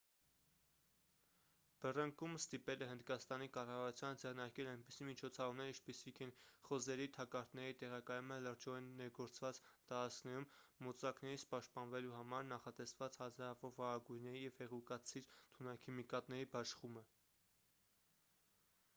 բռնկումն ստիպել է հնդկաստանի կառավարությանը ձեռնարկել այնպիսի միջոցառումներ ինչպիսիք են խոզերի թակարդների տեղակայումը լրջորեն ներգործված տարածքներում մոծակներից պաշտպանվելու համար նախատեսված հազարավոր վարագույրների և հեղուկացիր թունաքիմիկատների բաշխումը